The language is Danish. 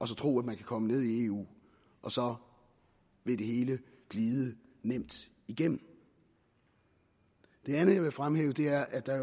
tro at man kan komme ned i eu og så vil det hele glide nemt igennem det andet jeg vil fremhæve er at der